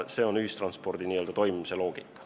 See on ühistranspordi toimimise loogika.